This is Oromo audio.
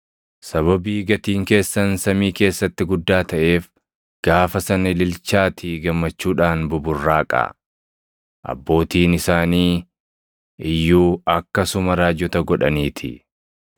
“Sababii gatiin keessan samii keessatti guddaa taʼeef gaafa sana ililchaatii gammachuudhaan buburraaqaa. Abbootiin isaanii iyyuu akkasuma raajota godhaniitii.